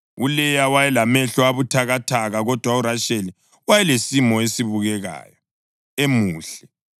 ULeya wayelamehlo abuthakathaka, kodwa uRasheli wayelesimo esibukekayo, emuhle.